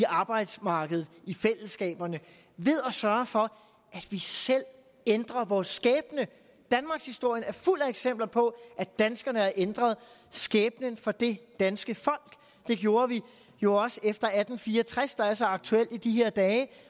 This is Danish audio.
arbejdsmarkedet ind i fællesskaberne ved at sørge for at vi selv ændrer vores skæbne danmarkshistorien er fuld af eksempler på at danskerne har ændret skæbnen for det danske folk det gjorde vi jo også efter atten fire og tres der er så aktuel i de her dage